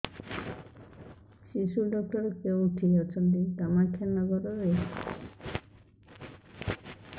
ଶିଶୁ ଡକ୍ଟର କୋଉଠି ଅଛନ୍ତି କାମାକ୍ଷାନଗରରେ